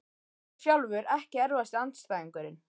Ég sjálfur Ekki erfiðasti andstæðingur?